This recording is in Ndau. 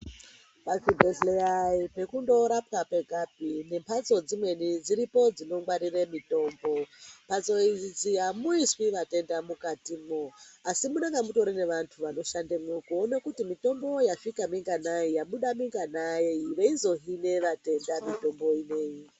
Pachibhedhleya ayi pekundorapwa kwegapi ngemphatso dzimweni dziripo dzinongwarire mitombo. Mphatso idzi amuiswi vatenda mwukatimwo asi munonga mutori nevantu vanoshandemwo kuone kuti mitombo yasvika minganai yabuda minganai veizohina vatenda mitombo ineyi.